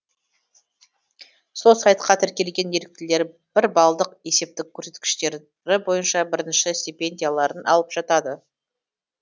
сол сайтқа тіркелген еріктілер бір балдық есептік көрсеткіштері бойынша бірінші стипендияларын алып жатады